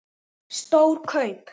Stór kaup?